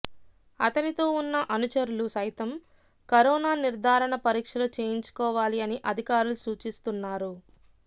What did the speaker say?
అతనితో ఉన్న అనుచరులు సైతం కరోనా నిర్దారణ పరీక్షలు చేయించు కోవాలి అని అధికారులు సూచిస్తున్నారు